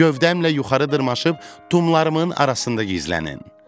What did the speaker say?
Gövdəmlə yuxarı dırmaşıb, tumlarımın arasında gizlənin.